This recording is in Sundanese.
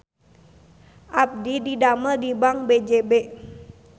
Abdi didamel di Bank BJB